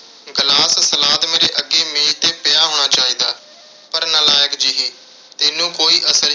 glass, salad ਮੇਰੇ ਅੱਗੇ ਮੇਜ਼ 'ਤੇ ਪਿਆ ਹੋਣਾ ਚਾਹੀਦਾ। ਪਰ ਨਾਲਾਇਕ ਜਿਹੀ ਤੈਨੂੰ ਕੋਈ ਅਸਰ